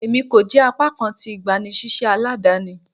Emi ko jẹ apakan ti igbanisiṣẹ aladani